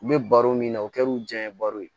U bɛ baro min na o kɛr'u diya ye baro ye